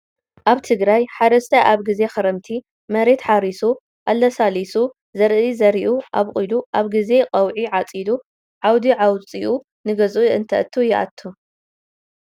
ኣብ ትግራይ ሓረስታይ ኣብ ግዜ ክረምቲ መሬት ሓሪሱ ኣላሳሊሱ ዘርኢ ዘርኡ ኣብቁሉ ኣብ ግዜ ቀውዒ ዓፂዱ ዓውዲ ኣውፂኡ ንገዝኡ እተቱ ይእቱ።